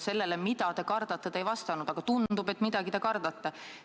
Sellele, mida te kardate, te ei vastanud, aga tundub, et midagi te kardate.